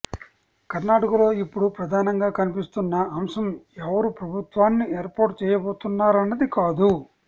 కర్ణాటకలో ఇప్పుడు ప్రధానంగా కనిపిస్తున్న అంశం ఎవరు ప్రభుత్వాన్ని ఏర్పాటు చేయబోతున్నారన్నది కాదు